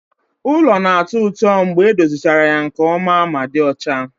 Ulo na-atọ ụtọ mgbe edozichara ya nke ọma ma dị ọcha